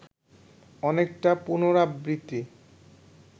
অনেকটা পুনরাবৃত্তি